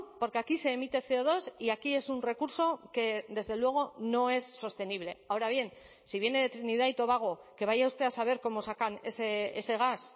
porque aquí se emite ce o dos y aquí es un recurso que desde luego no es sostenible ahora bien si viene de trinidad y tobago que vaya usted a saber cómo sacan ese gas